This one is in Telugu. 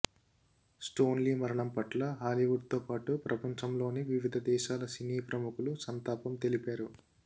స్టాన్లీ మరణం పట్ల హాలీవుడ్తో పాటు ప్రపంచంలోని వివిధ దేశాల సినీ ప్రముఖులు సంతాపం తెలిపారు